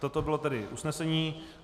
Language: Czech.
Toto bylo tedy usnesení.